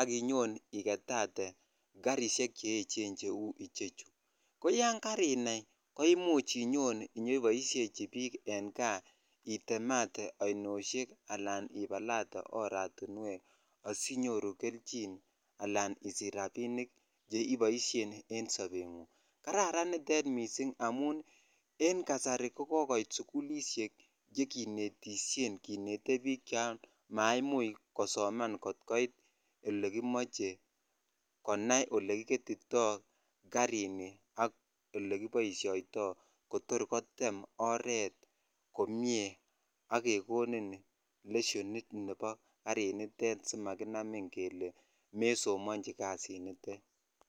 ak inyon igetate karisiek che eechen cheu ichechu. Koyon karinai ko imuch inyon inyeboisiechi biik eng kaa itemate ainosiek ananibalate oratinuek asi inyoru keljin anan isich rapinik che iboisien en sobengung. Kararan nitet mising amun en kasari ko kokoit sugulisiek che kinetisien kinete biik chon maimuch kosoman kot koit yekimache konai olekiketito karini ak olekiboisioito kotor kotem oret komie ak kekonin lesionit nebo karinitet si makinamin kele mesomanji kasinitet.